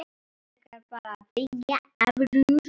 Förum frekar að byggja aftur.